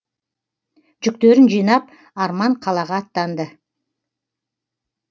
жүктерін жинап арман қалаға аттанды